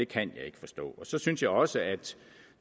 kan jeg ikke forstå så synes jeg også at